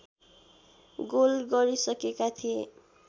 goal गरिसकेका थिए